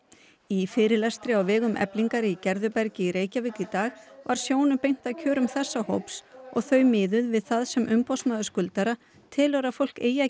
í fyrirlestri á vegum Eflingar í Gerðubergi í Reykjavík í dag var sjónum beint að kjörum þessa hóps og þau miðuð við það sem umboðsmaður skuldara telur að fólk eigi að